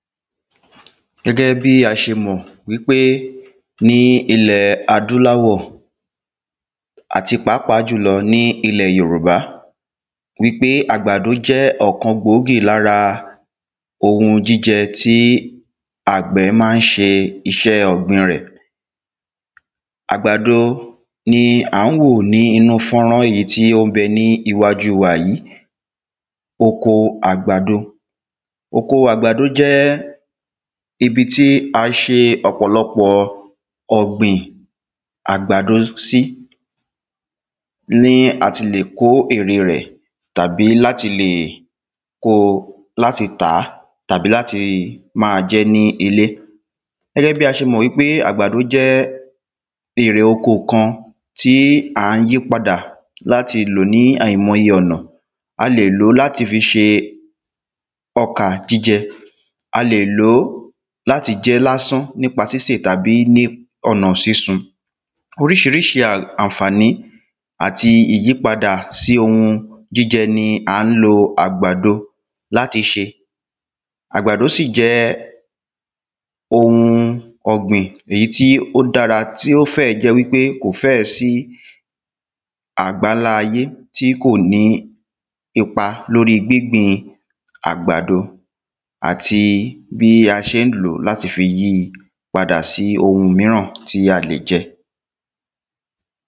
gẹ́gẹ́ bí a ṣe mọ̀ wípé ní ilẹ̀ adúláwọ̀ àti pàápàá jùlọ ní ilẹ̀ Yorùba ẃpé àgbàdo jẹ́ ọ̀kan gbòógì lára ohun jíjẹ tí àgbẹ̀ má ń ṣe iṣẹ́ rẹ̀ àgbàdo ni à ń wò ní inú fọ́nrán yìí tí ó ḿbẹ ní iwájú wa yìí oko àgbàdo oko àgbàdo jẹ́ ibi it́ a ṣe ọ̀pọ̀lọpọ̀ ọ̀gbìn àgbàdo sí ní àti le kó èrè rẹ̀ tàbí láti lè kóo láti lè kóo tàá tàbí láti máa jẹ́ ní ilé gẹ́gẹ́ bí a ṣe mọ̀ wípé àgbàdo jẹ́ èrè oko kan tí à ń yí padà láti lò ní àìmọye ọ̀nà a lè lòó láti fi ṣe ọkà jíjẹ a lè lòó láti jẹ́ lásán nípa sísè tàbí ní ọ̀nà sísun oríṣiríṣi à ànfàní àtí ìyípadà sí ohun jíjẹ ni à ń lo àgbàdo láti ṣe àgbàdo sí jẹ́ ohun ọ̀gbìn èyí tí ó dára tí ó fẹ̀ jẹ́ kò fẹ́ẹ̀ sí àgbálá ayé tí kò ní ipa lórí gbíngbìn àgbàdo àti bí a ṣe ń lòó láti fi yíi padà sí ohun míràn tí a lè jẹ